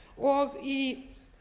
fimm ár í